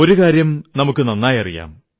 ഒരു കാര്യം നമുക്കു നന്നായി അറിയാം